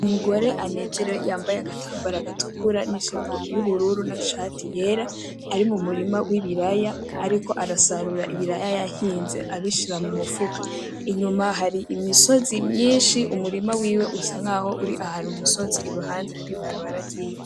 Umugore anezerewe yambaye agatambara gatukura n'ijipo y'ubururu n'ishati yera ari mumurima wibiraya ariko arasarura ibiraya yahinze abishira mumufuko ,inyuma hari imisozi myinshi, umurima wiwe usa nkaho uri ahantu mumisozi iruhande hari ibarabara ryivu .